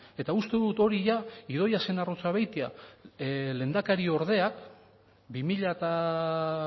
eta uste dut hori da idoia zenarruzabeitia lehendakariordea bi mila